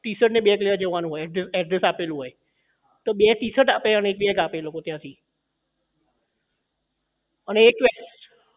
T shirt ને બે જગ્યાએ જવાનું હોય address આપેલું હોય તો બે ટીશર્ટ આપે અને એક bag આપે ત્યાં થી અને એક તો એ